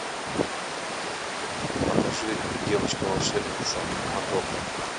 покажи девочка волшебница мадока